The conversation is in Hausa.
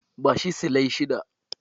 Bashi silai shida.